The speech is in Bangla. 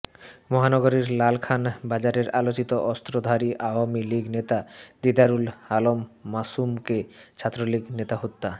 মহানগরীর লালখান বাজারের আলোচিত অস্ত্রধারী আওয়ামী লীগ নেতা দিদারুল আলম মাসুমকে ছাত্রলীগ নেতা হত্যা